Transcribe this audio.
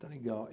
Está legal.